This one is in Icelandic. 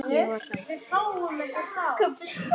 Ég var hrædd.